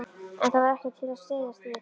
En það var ekkert til að styðjast við.